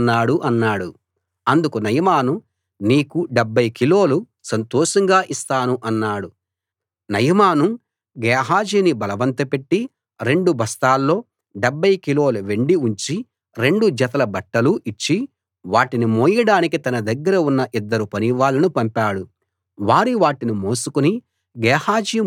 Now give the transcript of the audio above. అందుకు నయమాను నీకు డెబ్భై కిలోలు సంతోషంగా ఇస్తాను అన్నాడు నయమాను గేహాజీని బలవంతపెట్టి రెండు బస్తాల్లో డెబ్భై కిలోల వెండి ఉంచి రెండు జతల బట్టలూ ఇచ్చి వాటిని మోయడానికి తన దగ్గర ఉన్న ఇద్దరు పనివాళ్ళను పంపాడు వారు వాటిని మోసుకుని గేహాజీ ముందు నడిచారు